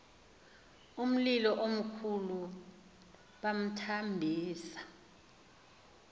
umlilo omkhulu bamthambisa